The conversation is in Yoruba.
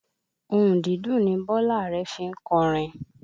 Ohùn dídùn ni Bọ́lá Are fi ń kọrin